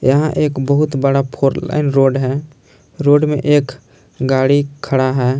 यहां एक बहुत बड़ा फोर लाइन रोड है रोड में एक गाड़ी खड़ा है।